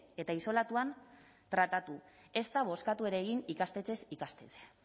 eta isolatuan tratatu ezta bozkatu ere egin ikastetxez ikastetxe